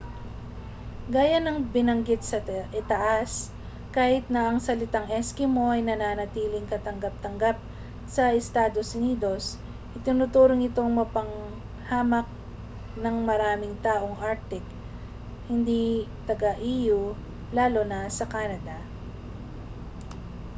gaya ng binaggit sa itaas kahit na ang salitang eskimo ay nananatiling katanggap-tanggap sa estados unidos itinuturing itong mapanghamak ng maraming taong arctic hindi taga-e.u. lalo na sa canada